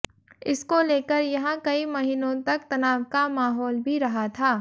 इसको लेकर यहां कई महीनों तक तनाव का महौल भी रहा था